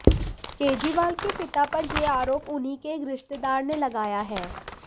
केजरीवाल के पिता पर यह आरोप उन्हीं के एक रिश्तेदार ने लगाया है